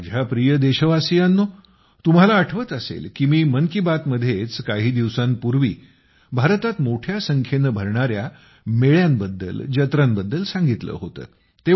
माझ्या प्रिय देशवासियांनो तुम्हाला आठवत असेल की मी मन की बात मध्येच काही दिवसांपूर्वी भारतात मोठ्या संख्येने भरणाऱ्या मेळ्यांबद्दल जत्रांबद्दल सांगितले होते